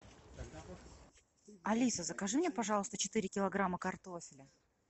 алиса закажи мне пожалуйста четыре килограмма картофеля